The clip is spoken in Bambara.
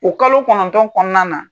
O kalo kɔnɔntɔn kɔnɔna na.